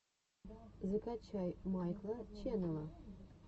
закачай майкла ченнела